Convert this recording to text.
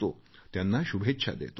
त्यांना शुभेच्छा देतो